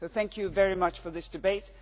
Thank you very much for this debate.